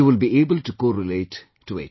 You will be able to correlate with it